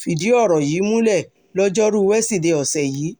fìdí ọ̀rọ̀ yìí múlẹ̀ lojoruu wesidee ọ̀sẹ̀ yìí